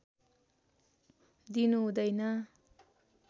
दिनु हुँदैन